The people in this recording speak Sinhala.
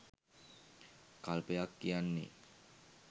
කල්පයක් කියන්නේ.